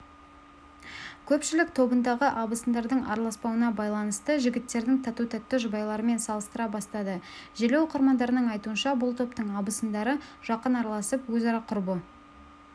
көпшілік тобындағы абысындардың араласпауына байланысты жігіттердің тату-тәтті жұбайларымен салыстыра бастады желі оқырмандарының айтуынша бұл топтың абысындары жақын араласып өзара құрбы